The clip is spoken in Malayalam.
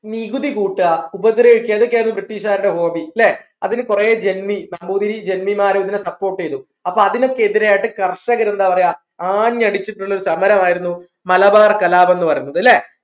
നികുതി കൂട്ടാ ഉപദ്രവിക്ക ഇതൊക്കെയായിരുന്നു British കാരുടെ Hobby ല്ലേ അതിനു കുറെ ജെന്നി നമ്പൂതിരി ജെന്നിമാരഇങ്ങനെ support ചെയ്തു അപ്പോ അതിനൊക്കെ എതിരെയായിട്ട് കർഷകൻ എന്താ പറയാ ആഞ്ഞടിച്ചിട്ടുള്ള ഒരു സമരം ആയിരുന്നു മലബാർ കലാപം എന്ന് പറയുന്നത് ല്ലേ